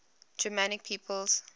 germanic peoples